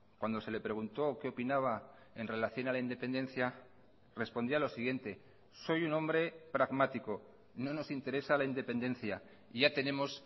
cuando se le preguntó qué opinaba en relación a la independencia respondía lo siguiente soy un hombre pragmático no nos interesa la independencia ya tenemos